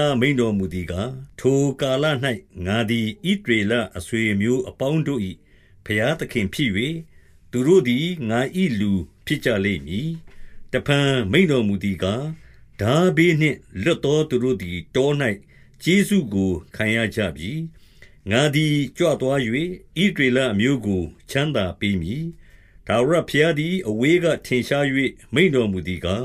ား မိန့်တော်မူသည်ကား၊ ထိုကာလ ၌ ငါသည် ဣသရေလအဆွေအမျိုးအပေါင်းတို့၏ ဘုရားသခင်ဖြစ်၍၊ သူတို့သည် ငါ၏လူဖြစ်ကြလိမ့်မည်။ တဖန် မိန့်တော်မူသည်ကား၊ ထားဘေးနှင့်လွတ် သော သူတို့သည် တော၌ကျေးဇူးကို ခံရကြပြီ။ ငါသည် ကြွသွား၍ ဣသရေလအမျိုးကို ချမ်းသာပေးမည်။ ထာဝရဘုရားသည် အဝေးက ထင်ရှား၍ မိန့်တော်မူသည်ကား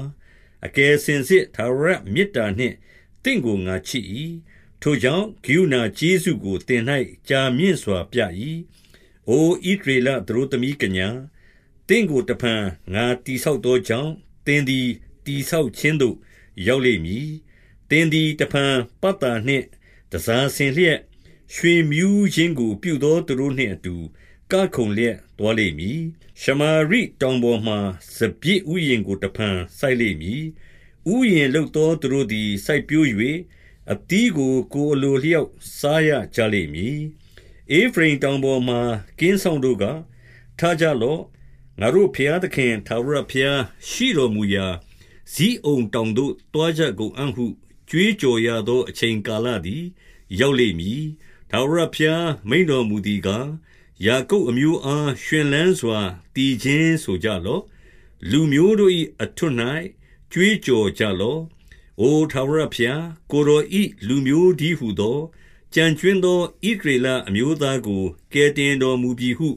၊ အကယ်စင်စစ် ထာဝရမေတ္တာနှင့် သင့်ကိုငါချစ်၏။ ထိုကြောင့်၊ ကရုဏာကျေးဇူးကို သင်၌ကြာမြင့်စွာပြ၏။ အို ဣသရေလ သတို့သမီးကညာ၊ သင့်ကိုတဖန် ငါတည်ဆောက်သောကြောင့်၊ သင်သည် တည်ဆောက်ခြင်းသို့ ရောက်လိမ်မည်။ သင်သည် တဖန် ပတ်သာ နှင့် တန်ဆာဆင်လျက်၊ ရွှင်မြူးခြင်းကို ပြုသောသူတို့နှင့် အတူကခုန်လျက်သွားလိမ့်မည်။ ရှမာရိတောင်ပေါ်မှာ စပျစ်ဥယျာဉ်ကို တဖန် စိုက်လိမ့်မည်။ ဥယျာဉ်လုပ်သောသူတို့သည် စိုက်ပျိုး၍၊ အသီးကို ကိုယ်အလိုအလျောက် စားရကြလိမ့်မည်။ ဧဖရိမ်တောင်ပေါ်မှာ ကင်းစောင့်တို့က၊ ထကြ လော့။ ငါတို့ ဘုရားသခင် ထာဝရဘုရားရှိတော်မူရာ ဇိအုန်တောင်သို့သွားကြကုန်အံ့ဟု ကြွေးကြော်ရသော အချိန်ကာလသည် ရောက်လိမ့်မည်။ ထာဝရဘုရား မိန့်တော်မူသည်ကား၊ ယာကုပ် အမျိုးအား၊ ရွှင်လန်းစွာ သီချင်းဆိုကြလော့။ လူမျိုးတို့၏ အထွဋ်၌ ကြွေးကြော်ကြလော့။ အို ထာဝရဘုရား၊ ကိုယ်တော်၏ လူမျိုးတည်းဟူသော၊ ကျန်ကြွင်းသော ဣသရေလအမျိုးသားကို ကယ်တင်တော်မူပြီဟု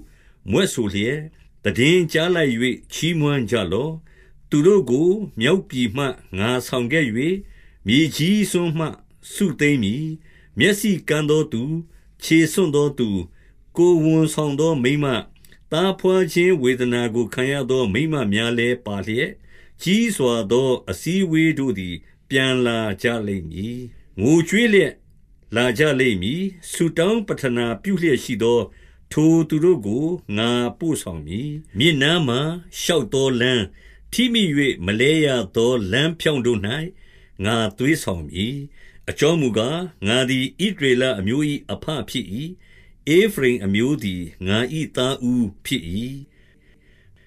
မြွက်ဆို လျက် သိတင်းကြားလိုက်၍ ချီးမွမ်းကြလော့။ သူတို့ကို မြောက်ပြည်မှ ငါဆောင်ခဲ့၍၊ မြေကြီး စွန်းမှ စုသိမ်းမည်။ မျက်စိကန်းသောသူ၊ ခြေဆွံ့သောသူ၊ ကိုယ်ဝန်ဆောင်သောမိန်းမ၊ သားဘွားခြင်းဝေဒနာကို ခံရသော မိန်းမများလည်းပါလျက်၊ ကြီးစွာသော အစည်း အဝေးတို့သည် ပြန်လာကြလိမ့်မည်။ ငိုကြွေးလျက် လာကြလိမ့်မည်။ ဆုတောင်း ပဌနာပြုလျက်ရှိသော ထိုသူတို့ကို ငါပို့ဆောင်မည်။ မြစ်နားမှာ ရှောက်သောလမ်း၊ ထိမိ၍ မလဲရသော လမ်းဖြောင့်တို့၌ ငါသွေးဆောင်မည်။ အကြောင်းမူကား၊ ငါသည် ဣသရေလအမျိုး၏ အဘဖြစ်၏။ ဧဖရိမ်အမျိုး သည် ငါ၏ သားဦးဖြစ်၏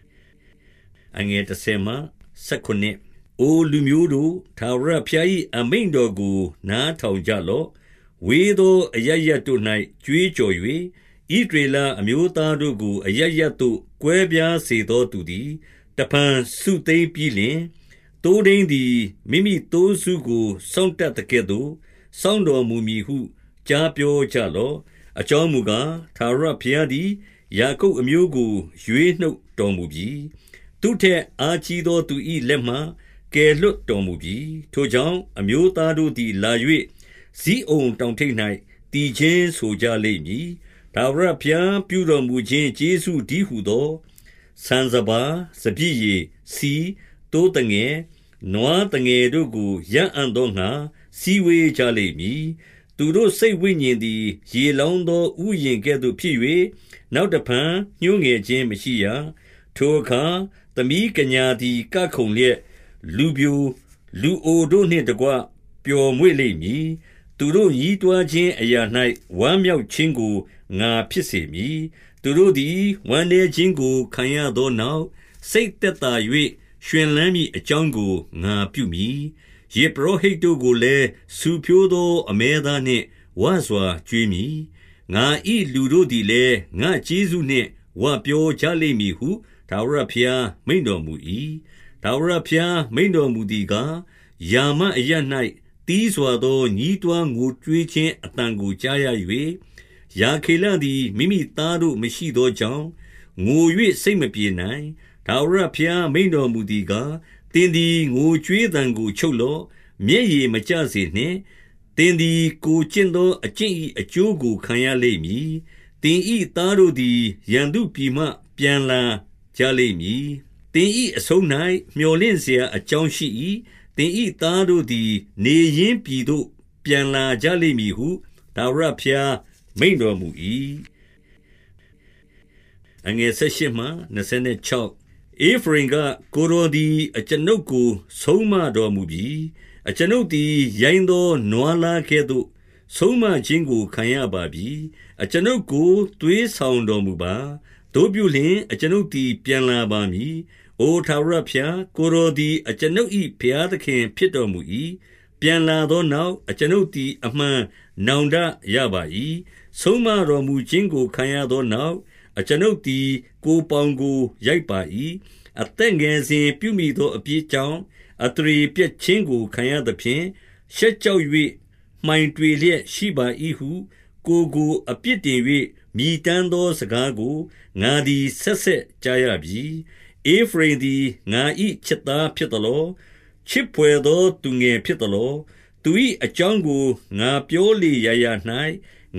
။ အိုလူမျိုးတို့၊ ထာဝရဘုရား၏ အမိန့်တော်ကို နားထောင်ကြလော့။ ဝေးသောအရပ်ရပ်တို့၌ ကြွေးကြော် ၍၊ ဣသရေလ အမျိုးသားတို့ကို အရပ်ရပ်သို့ ကွဲပြား စေသောသူသည် တဖန်စုသိမ်းပြီးလျှင်၊ သိုးထိန်းသည် မိမိသိုးစုကိုစောင့်တတ်သကဲ့သို့ စောင့်တော်မူမည်ဟု ကြားပြောကြလော့။ အကြောင်းမူကား၊ ထာဝရဘုရားသည် ယာကုပ် အမျိုးကို ရွေးနှုတ်တော်မူပြီ။ သူ့ထက်အားကြီးသော သူ၏လက်မှ ကယ်လွှတ်တော်မူပြီ။ ထိုကြောင့်အမျိုးသားတို့သည် လာ၍၊ ဇိအုန် တောင်ထိပ်၌ သီချင်းဆိုကြလိမ့်မည်။ ထာဝရဘုရား ပြုတော်မူခြင်း ကျေးဇူးတည်းဟူသော ဆန်စပါး၊ စပျစ် ရည်၊ ဆီ၊ သိုးသငယ်၊ နွားသငယ်တို့ကို ရအံ့သောငှါ စည်းဝေးကြလိမ့်မည်။ သူတို့စိတ်ဝိညာဉ်သည် ရေ လောင်းသော ဥယျာဉ်ကဲ့သို့ဖြစ်၍၊ နောက်တဖန် ညှိုးငယ် ခြင်းမရှိရ။ ထိုအခါသမီးကညာသည် ကခုန်လျက်၊ လူပျို၊ လူအိုတို့နှင့်တကွ ပျော်မွေ့လိမ့်မည်။ သူတို့ညည်းတွားခြင်း အရာ၌ ဝမ်းမြောက်ခြင်းကို ငါဖြစ်စေမည်။ သူတို့သည် ဝမ်းနည်းခြင်းကို ခံရသောနောက်၊ စိတ်သက်သာ၍ ရွှင်လန်းမည်အကြောင်းကို ငါပြုမည်။ ယဇ်ပုရောဟိတ်တို့ကိုလည်း ဆူဖြိုးသော အမဲသားနှင့်ဝစွာ ကျွေးမည်။ ငါ၏လူတို့သည်လည်း ငါ့ကျေးဇူးနှင့် ဝပြောကြလိမ့်မည်ဟု ထာဝရဘုရား မိန့်တော်မူ၏။ ထာဝရဘုရား မိန့်တော်မူသည်ကား၊ ရာမအရပ် ၌ သည်းစွာသော ညည်းတွားငိုကြွေးခြင်းအသံကို ကြားရ ၍၊ ရာခေလသည် မိမိသားတို့မရှိသောကြောင့်၊ ငို၍ စိတ်မပြေနိုင်။ ထာဝရဘုရား မိန့်တော်မူသည်ကား၊ သင်သည် ငိုကြွေးသံကို ချုပ်လော့၊ မျက်ရည်မကျစေနှင့်။ သင်သည် ကိုယ်ကျင့်သော အကျင့်၏ အကျိုးကိုခံရလိမ့်မည်။ သင်၏ သားတို့သည် ရန်သူပြည်မှ ပြန်လာကြလိမ့်မည်။ သင်၏အဆုံး၌ မြော်လင့်စရာအကြောင်း ရှိ၏။ သင်၏ သားတို့သည် နေရင်းပြည်သို့ပြန်လာကြလိမ့်မည် ဟု ထာဝရဘုရား မိန့်တော်မူ၏။ ဧဖရိမ်က၊ ကိုယ်တော်သည် အကျွန်ုပ်ကို ဆုံးမ တော်မူပြီ။ အကျွန်ုပ်သည် ရိုင်းသောနွားလားကဲ့သို့ ဆုံးမခြင်းကို ခံရပါပြီ။ အကျွန်ုပ် ကိုသွေးဆောင်တော် မူပါ။ သို့ပြုလျှင်၊ အကျွန်ုပ်သည် ပြန်လာပါမည်။ အို ထာဝရဘုရား၊ ကိုယ်တော်သည် အကျွန်ုပ်၏ ဘုရား သခင်ဖြစ်တော်မူ၏။ ပြန်လာသောနောက်၊ အကျွန်ုပ်သည် အမှန် နောင်တရပါ၏။ ဆုံးမတော်မူခြင်းကို ခံရသောနောက်၊ အကျွန်ုပ်သည် ကိုယ်ပေါင်ကို ရိုက်ပါ၏။ အသက်ငယ်စဉ် ပြုမိသော အပြစ်ကြောင့် အသရေပျက်ခြင်းကို ခံရ သဖြင့်၊ ရှက်ကြောက်၍ မှိုင်တွေလျက်ရှိပါ၏ဟု ကိုယ်ကို အပြစ်တင်၍ မြည်တမ်းသောစကားကို ငါသည် ဆက် ဆက်ကြားရပြီ။ ဧဖရိမ်သည် ငါ၏ချစ်သားဖြစ်သလော။ ချစ် ဘွယ်သော သူငယ်ဖြစ်သလော။ သူ၏အကြောင်းကို ငါပြောလေရာရာ၌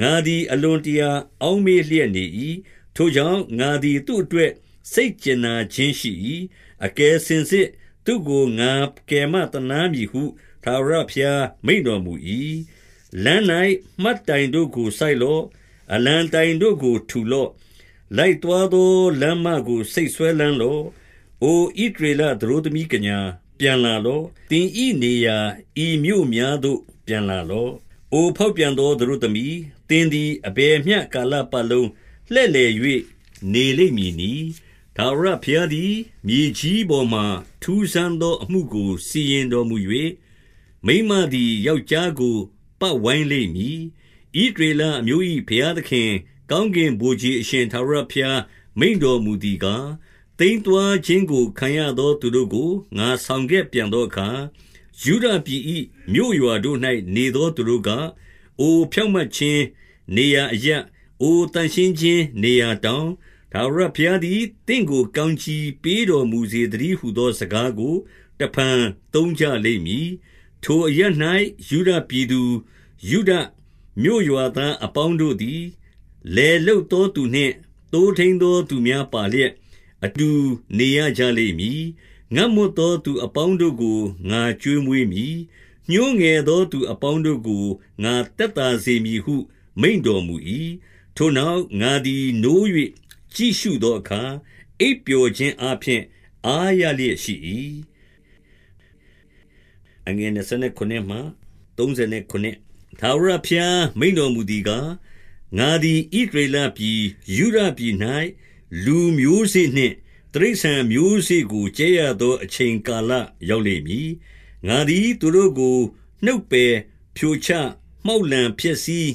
ငါသည် အလွန်တရာ အောက်မေ့ လျက်နေ၏။ ထိုကြောင့်၊ ငါသည် သူ့အတွက် စိတ်ကြင်နာ ခြင်းရှိ၏။ အကယ်စင်စစ် သူ့ကိုငါကယ်မသနားမည်ဟု ထာဝရဘုရား မိန့်တော်မူ၏။ လမ်း၌မှတ်တိုင်တို့ကိုစိုက်လော့။ အလံတိုင်တို့ကို ထူလော့။ လိုက်သွားသောလမ်းမကို စိတ်စွဲလမ်းလော့။ အိုဣသရေလသတို့သမီးကညာ၊ ပြန်လာလော့။ သင်၏ နေရာ ဤမြို့များသို့ ပြန်လာလော့။ အိုဖောက်ပြန်သော သတို့သမီး၊ သင်သည် အဘယ်မျှကာလပတ်လုံးလှည့်လည်၍ နေလိမ့်မည်နည်း။ ထာဝရဘုရားသည် မြေကြီးပေါ်မှာ ထူးဆန်းသော အမှု ကို စီရင်တော်မူ၍၊ မိန်းမသည် ယောက်ျားကို ပတ်ဝိုင်း လိမ့်မည်။ ဣသရေလအမျိုး၏ ဘုရားသခင်၊ ကောင်းကင် ဗိုလ်ခြေအရှင် ထာဝရဘုရား မိန့်တော်မူသည်ကား၊ သိမ်း သွားခြင်းကို ခံရသောသူတို့ကို ငါဆောင်ခဲ့ပြန်သောအခါ၊ ယုဒပြည်၏မြို့ရွာတို့၌ နေသောသူတို့က၊ အို ဖြောင့်မတ် ခြင်းနေရာအရပ်၊ အိုသန့်ရှင်းခြင်း နေရာတောင်၊ ထာဝရ ဘုရားသည် သင့်ကို ကောင်းကြီးပေးတော်မူစေသတည်း ဟူသော စကားကို တဖန်သုံးကြလိမ့်မည်။ ထိုအရပ်၌ ယုဒပြည်သူ၊ ယုဒမြို့ရွာသား အပေါင်းတို့သည်၊ လယ်လုပ်သောသူနှင့် သိုးထိန်းသော သူများပါလျက်၊ အတူနေရကြလိမ့်မည်။ ငတ်မွတ်သော သူအပေါင်းတို့ကို ငါကျွေးမွေး မည်။ ညှိုးငယ်သော သူအပေါင်းတို့ကို ငါသက်သာစေမည် ဟု မိန့်တော်မူ၏။ ထိုနောက်၊ ငါသည် နိုး၍ကြည့်ရှုသောအခါ၊ အိပ်ပျော်ခြင်းအားဖြင့် အားရလျက်ရှိ၏။ ထာဝရဘုရား မိန့်တော်မူသည်ကား၊ ငါသည် ဣသရေလပြည်၊ ယုဒပြည်၌ လူမျိုးစေ့နှင့် တိရစ္ဆာန် မျိုးစေ့ကို ကြဲရသော အချိန်ကာလ ရောက်လိမ့်မည်။ ငါသည် သူတို့ကို နှုတ်ပယ်ဖြိုချမှောက်လှန် ဖျက်ဆီး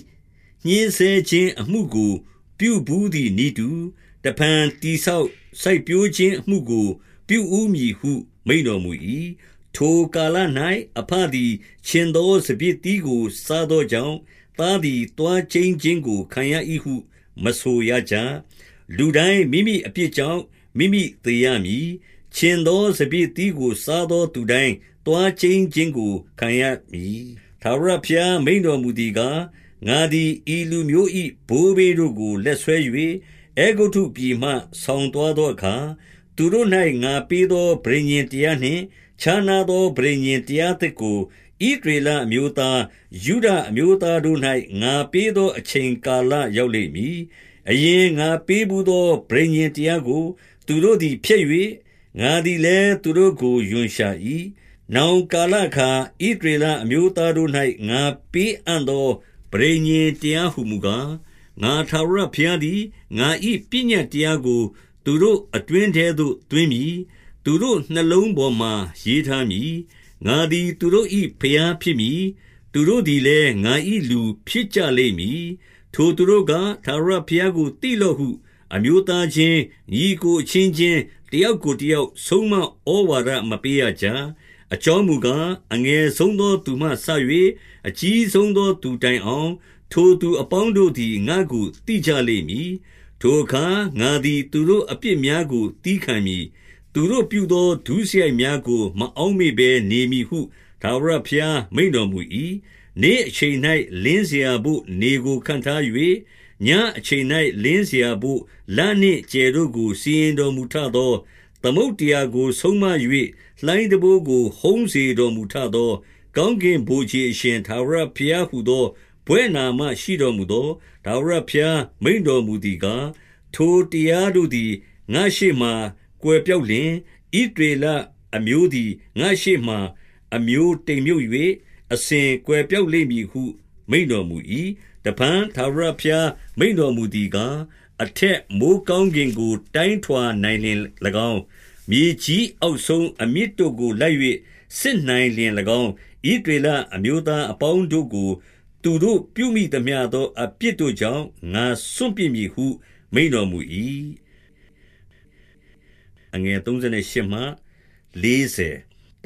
ညှဉ်းဆဲခြင်းအမှုကို ပြုဘူးသည်နည်းတူ၊ တဖန် တည်ဆောက် စိုက်ပျိုးခြင်းအမှုကို ပြုဦးမည်ဟု မိန့်တော် မူ၏။ ထိုကာလ၌ အဘသည် ချဉ်သောစပျစ်သီးကို စားသောကြောင့်၊ သားသည် သွားကျိန်းခြင်းကို ခံရ၏ ဟု မဆိုရကြ။ လူတိုင်း မိမိအပြစ်ကြောင့် မိမိသေရမည်။ ချဉ်သောစပျစ်သီးကို စားသောသူတိုင်း သွားကျိန်းခြင်းကို ခံရမည်။ ထာဝရဘုရား မိန့်တော်မူသည်ကား၊ ငါသည် ဤလူမျိုး၏ ဘိုးဘေးတို့ကို လက်ဆွဲ၍ အဲဂုတ္တု ပြည်မှ ဆောင်သွားသောအခါ၊ သူတို့၌ ငါပေးသော ပဋိညာဉ်တရားနှင့် ခြားနားသော ပဋိညာဉ်တရားသစ်ကို ဣသရေလ အမျိုးသား၊ ယုဒအမျိုးသားတို့၌ ငါပေးသော အချိန်ကာလ ရောက်လိမ့်မည်။ အရင်ငါပေးဘူးသော ပဋိညာဉ်တရားကို သူတို့သည် ဖျက်၍၊ ငါသည်လည်း သူတို့ကို ရွံရှာ၏။ နောက်ကာလအခါ ဣသရေလအမျိုးသားတို့၌ ငါပေးအံ့သော ပဋိညာဉ်တရားဟူမူကား၊ ငါထာဝရ ဘုရားသည် ငါ၏ပညတ်တရားကို သူတို့အတွင်းထဲသို့ သွင်းမည်။ သူတို့နှလုံးပေါ်မှာ ရေးထားမည်။ ငါသည် သူတို့၏ ဘုရားဖြစ်သည်။ သူတို့သည်လည်း ငါ၏လူ ဖြစ်ကြလိမ့်မည်။ ထိုသူတို့က၊ ထာဝရဘုရားကို သိလော့ဟု၊ အမျိုးသားချင်း၊ ညီအစ်ကိုအချင်းချင်း တယောက်ကို တယောက်ဆုံးမဩဝါဒမပေးရကြ။ အကြောင်းမူကား၊ အငယ်ဆုံးသော သူမှစ၍ အကြီးဆုံးသောသူတိုင်အောင်၊ ထိုသူအပေါင်းတို့သည် ငါ့ကိုသိကြလိမ့်မည်။ ထိုအခါ ငါသည် သူတို့အပြစ်များကို သည်းခံမည်။ သူတို့ပြုသော ဒုစရိုက်များကို မအောက်မေ့ဘဲနေမည်ဟု ထာဝရဘုရား မိန့်တော်မူ၏။ နေ့အချိန်၌ လင်းစရာဘို့နေကိုခန့်ထား၍၊ ညဉ့် အချိန်၌ လင်းစရာဘို့ လနှင့်ကြယ်တို့ကို စီရင်တော်မူ ထသော၊ သမုဒ္ဒရာကိုဆုံးမ၍ လှိုင်းတံပိုးကို ဟုန်းစေတော် မူထသော၊ ကောင်းကင်ဗိုလ်ခြေအရှင် ထာဝရဘုရားဟူ သော ဘွဲ့နာမရှိတော်မူသော ထာဝရဘုရား မိန့်တော် မူသည်ကား၊ ထိုတရားတို့သည် ငါ့ရှေ့မှာ ကွယ်ပျောက်လျှင်၊ ဣသရေလ အမျိုးသည် ငါ့ရှေ့မှာ အမျိုးတိမ်မြုပ်၍ အစဉ်ကွယ်ပျောက်လိမ့်မည်ဟု မိန့်တော်မူ၏။ တဖန်ထာဝရဘုရား မိန့်တော်မူသည်ကား၊ အထက်မိုဃ်းကောင်းကင်ကို တိုင်းထွာနိုင်လျှင်၎င်း၊ မြေကြီးအောက်ဆုံးအမြစ်တို့ကိုလိုက်၍ စစ်နိုင်လျှင်၎င်း၊ ဣသရေလ အမျိုးသားအပေါင်းတို့ကို သူတို့ပြုမိသမျှသော အပြစ်တို့ကြောင့် ငါစွန့်ပစ်မည်ဟု မိန့်တော်မူ၏။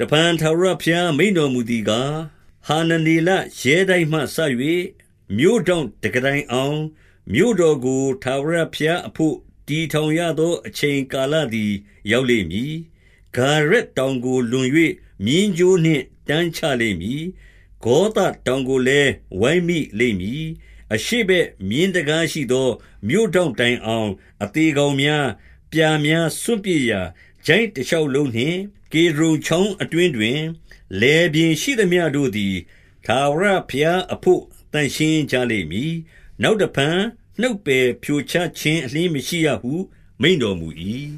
တဖန်ထာဝရဘုရား မိန့်တော်မူသည်ကား၊ ဟာနနေလရဲတိုက်မှ စ၍ မြို့ထောင့်တံခါးတိုင်အောင်၊ မြို့တော်ကို ထာဝရဘုရားအဘို့ တည်ထောင်ရသော အချိန်ကာလသည် ရောက်လိမ့်မည်။ ဂါရက်တောင်ကို လွန်၍ မျဉ်းကြိုးနှင့်တန်းချ လိမ့်မည်။ ဂေါသတောင်ကိုလည်း ဝိုင်းမိလိမ့်မည်။ အရှေ့ဘက်မြင်းတံခါးရှိသော မြို့ထောင့်တိုင် အောင်၊ အသေကောင်များ၊ ပြာများစွန့်ပစ်ရာ ချိုင့် တရှောက်လုံးနှင့်၊ ကေဒြုန်ချောင်းအတွင်းတွင်၊ လယ်ပြင် ရှိသမျှတို့သည် ထာဝရဘုရားအဘို့ သန့်ရှင်းကြလိမ့် မည်။ နောက်တဖန် နှုတ်ပယ်ဖြိုချခြင်း အလျှင်းမရှိရဟု မိန့်တော်မူ၏။